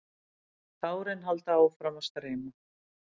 Tárin halda áfram að streyma.